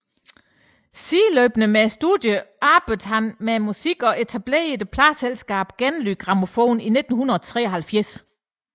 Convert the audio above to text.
Sideløbende med studierne arbejdede han med musikken og etablerede pladeselskabet Genlyd Grammofon i 1973